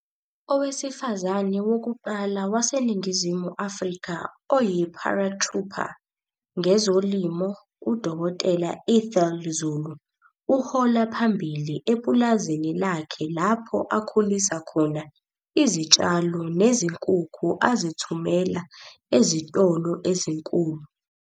Owesifazane wokuqala waseNingizimu Afrika oyi-paratrooper ngezolimo UDkt Ethel Zulu uhola phambili epulazini lakhe lapho akhulisa khona izitshalo nezinkukhu azithumela ezitolo ezinkulu.